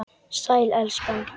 Sæl, elskan.